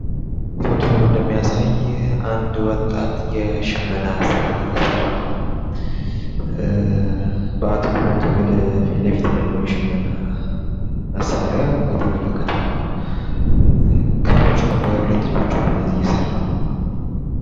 በምስሉ ላይ እንደሚታየው አንድ ወጣት የሽመና ስራን እየሰራ ነው። በአትኩሮት ፊትለፊት ወዳለው የሽመና እቃ እየተመለከተ ሲሆን በሁለት እጆቹ ክሮቹን በመያዝ እየሰራ ነው።